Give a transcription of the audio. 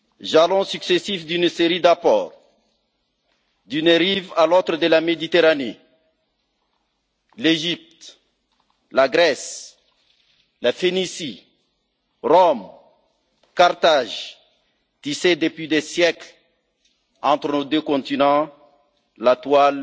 Jalons successifs d'une série d'apports, d'une rive à l'autre de la Méditerranée, l'Égypte, la Grèce, la Phénicie, Rome et Carthage tissaient, depuis des siècles, entre nos deux continents, la toile